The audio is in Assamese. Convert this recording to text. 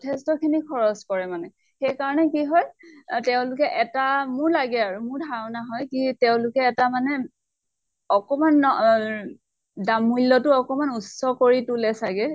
যথেষ্টখিনি খৰচ কৰে মানে । সেইকাৰণে কি হয় এ তেওঁলোকে এটা মোহ লাগে আৰু, মোৰ ধাৰণা হয় কি তেওঁলোকে এটা মানে, অকমান অহ দাম মূল্য় তো অকনমান উচ্চ কৰি তোলে চাগে ।